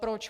Proč?